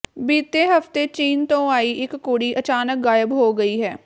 ਬੀਤੇ ਹਫ਼ਤੇ ਚੀਨ ਤੋਂ ਆਈ ਇਕ ਕੁੜੀ ਅਚਾਨਕ ਗ਼ਾਇਬ ਹੋ ਗਈ ਹੈ